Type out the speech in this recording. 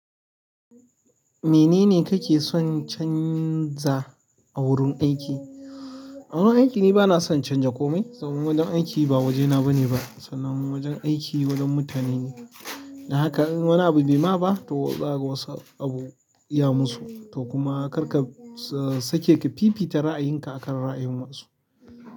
Menene kake son canza a wurin aiki? A wurin aiki ni bana son canza komai saboda wajen aiki ba wajena bane ba, sanan wajen aiki wajen mutane ne. Dan haka in wani abu bai ma ba to zaka wasu abu iya musu, to kuma kar ka sake ka fifita ra'ayinka akan ra'ayin wasu.